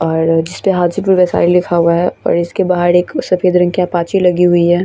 और लिखा हुआ है और इसके बाहर सफ़ेद रंग की अपाची लगी हुई है |